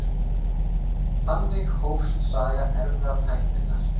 Þannig hófst saga erfðatækninnar.